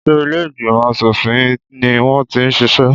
Ṣé ilé ìgbìmọ̀ aṣòfin ni wọ́n ti ń ṣiṣẹ́?